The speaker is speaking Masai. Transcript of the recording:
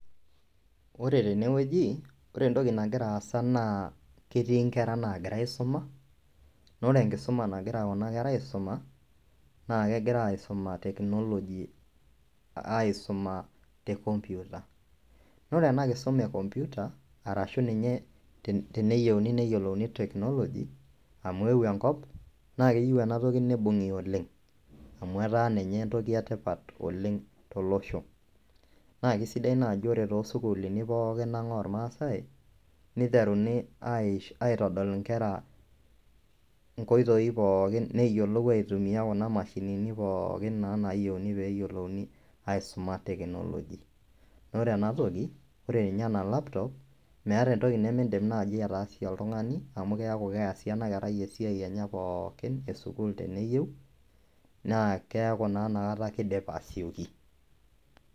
Ore tenewueji ore entoki nagira aasa naa ketii inkera naagira aisuma naa ore enkisuma nagira kuna kera aisuma naa kegira aisuma te computer naa ore ena Kisuma e compute arashuu ninye teneyiolouni neyiolouni technology amu eeuo enkop naa keyieu ena toki neibung'i oleng amu etaa ninye entoki etipat oleng tolosho naa keisaidia naaji ore toosukulini pookin ang ormaasae niteruni aitodol inkera inkoitoi pookin peeyiolou aitumiya kuna mashinini pookin naa naayieuni peeyiolouni aisuma technology naa ore ena toki ore ninye ena laptop meeta entoki nimindim ataasie oltung'ani amu keeku keesie ena kerai esia enye pooki esukuul teneyieu naa keeku naa inakata keidip asioki.